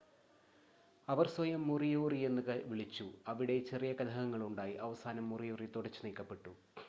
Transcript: അവർ സ്വയം മോറിയോറി എന്ന് വിളിച്ചു അവിടെ ചെറിയ കലഹങ്ങളുണ്ടായി അവസാനം മോറിയോറി തുടച്ചുനീക്കപ്പെട്ടു